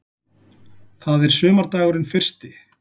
Það er sumardagurinn fyrsti.